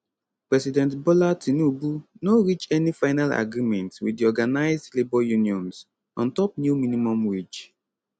president bola tinubu no reach any final agreement wit di organised labour unions on top new minimum wage